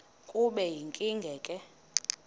kube yinkinge ke